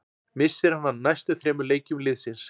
Missir hann af næstu þremur leikjum liðsins.